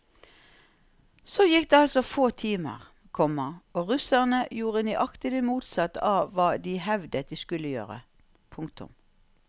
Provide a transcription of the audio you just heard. Så gikk det altså få timer, komma og russerne gjorde nøyaktig det motsatte av hva de hevdet de skulle gjøre. punktum